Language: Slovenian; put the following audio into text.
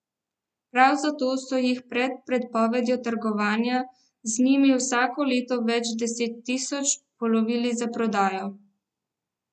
Prav zato so jih pred prepovedjo trgovanja z njimi vsako leto več deset tisoč polovili za prodajo.